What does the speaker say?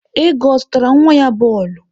Ego zụtara nwa ya bọọlụ?